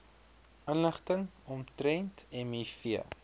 inligting omtrent miv